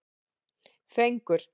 Fengur